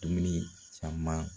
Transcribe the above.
Dumuni caman